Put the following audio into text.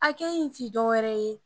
tɛ wɛrɛ ye.